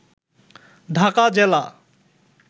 ঢাকা জেলা